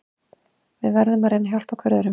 Við verðum að reyna að hjálpa hver öðrum.